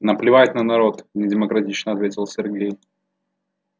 наплевать на народ недемократично ответил сергей